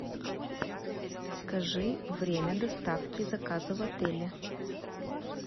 скажи время доставки заказа в отеле